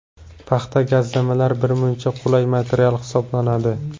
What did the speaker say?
Paxta gazlamalar birmuncha qulay material hisoblanadi.